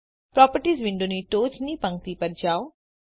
properties વિન્ડોની ટોચની પંક્તિ પર જાઓ